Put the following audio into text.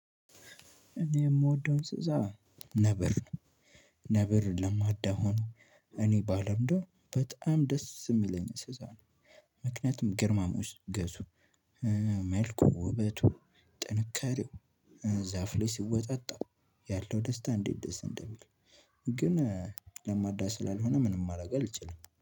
እኔ የምወደው እንስሳ ነብር ነብር ለማዳሆኖ እኔ ባለምደው በጣም ደስ የሚለኝ እንስሳ ነው። ምክንያቱም ግርማ ሞገሱ ገዙ እ መልኩ፣ ውበቱ፣ ጥንካሬው፣ ዛፍ ላይ ሲወጣጣ ያለው ደስታ እንዴት ደስ እንደሚል ግን ለማዳ ስላልሆነ ምንም ማድረግ አልችልም።